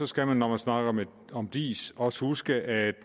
skal man når man snakker om om diis også huske at